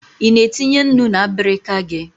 Ị na etunye nnu na abirika gị?